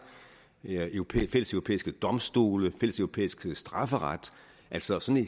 fælleseuropæiske domstole fælleseuropæisk strafferet altså sådan